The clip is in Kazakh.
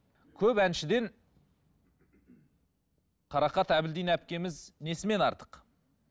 көп әншіден қарақат әбділдина әпкеміз несімен артық